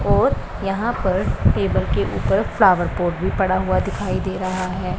और यहां पर टेबल के ऊपर फ्लावर पॉट भी पड़ा हुआ दिखाई दे रहा है।